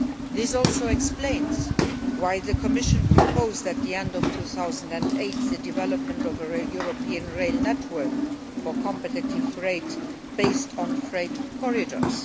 This also explains why the Commission proposed, at the end of 2008, the development of a European rail network for competitive freight based on freight corridors.